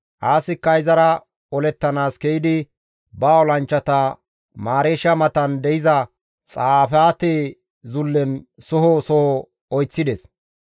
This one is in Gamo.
Aasikka izara olettanaas ke7idi ba olanchchata Mareesha matan de7iza Xafaate zullen soho soho oyththides.